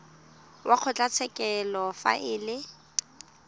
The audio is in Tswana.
wa kgotlatshekelo fa e le